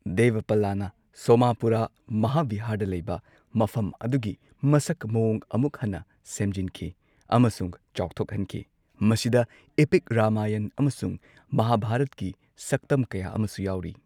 ꯗꯦꯚꯄꯥꯂꯥꯅ ꯁꯣꯃꯥꯄꯨꯔꯥ ꯃꯍꯥꯚꯤꯍꯥꯔꯗ ꯂꯩꯕ ꯃꯐꯝ ꯑꯗꯨꯒꯤ ꯃꯁꯛ ꯃꯑꯣꯡ ꯑꯃꯨꯛ ꯍꯟꯅ ꯁꯦꯝꯖꯤꯟꯈꯤ ꯑꯃꯁꯨꯡ ꯆꯥꯎꯊꯣꯛꯍꯟꯈꯤ, ꯃꯁꯤꯗ ꯏꯄꯤꯛ ꯔꯥꯃꯥꯌꯟ ꯑꯃꯁꯨꯡ ꯃꯍꯥꯚꯥꯔꯠꯀꯤ ꯁꯛꯇꯝ ꯀꯌꯥ ꯑꯃꯁꯨ ꯌꯥꯎꯔꯤ꯫